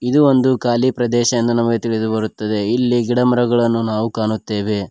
ಇದು ಒಂದು ಕಾಲಿ ಪ್ರದೇಶ ಎಂದು ನಮಗೆ ತಿಳಿದು ಬರುತ್ತದೆ ಇಲ್ಲಿ ಗಿಡ ಮರಗಳನ್ನು ನಾವು ಕಾಣುತ್ತೆವೆ.